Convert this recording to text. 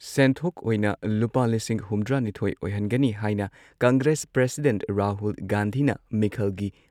ꯁꯦꯟꯊꯣꯛ ꯑꯣꯢꯅ ꯂꯨꯄꯥ ꯂꯤꯁꯤꯡ ꯍꯨꯝꯗ꯭ꯔꯥꯅꯤꯊꯣꯏ ꯑꯣꯏꯍꯟꯒꯅꯤ ꯍꯥꯏꯅ ꯀꯪꯒ꯭ꯔꯦꯁ ꯄ꯭ꯔꯁꯤꯗꯦꯟꯠ ꯔꯥꯍꯨꯜ ꯒꯥꯟꯙꯤꯅ ꯃꯤꯈꯜꯒꯤ